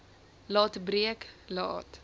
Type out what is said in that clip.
laat breek laat